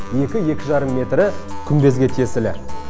екі екі жарым метрі күмбезге тиесілі